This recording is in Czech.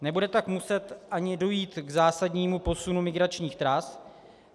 Nebude tak muset ani dojít k zásadnímu posunu migračních tras.